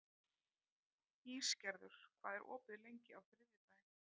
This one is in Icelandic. Ísgerður, hvað er opið lengi á þriðjudaginn?